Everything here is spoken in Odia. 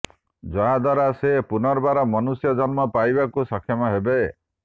ଯାହାଦ୍ୱାରା ସେ ପୁନର୍ବାର ମନୁଷ୍ୟ ଜନ୍ମ ପାଇବାକୁ ସକ୍ଷମ ହେବ